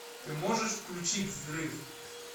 ты можешь включить взрыв